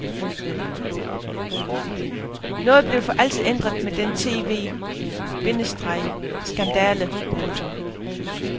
Noget blev for altid ændret med den tv- bindestreg skandale. punktum